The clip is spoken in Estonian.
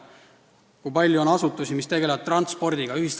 Näiteks, kui palju on asutusi, mis tegelevad transpordiga?